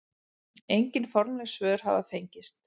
Engin formleg svör hafa fengist.